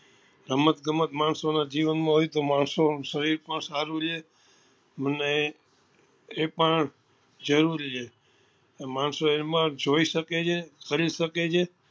રમત ગમત માણસો ના જીવન માં હોય તો માણસો નું સરીર પણ સારું રે અને એ પણ જરૂરી છે માણસો એમાં જોઈ શકે છે કરી શકે છે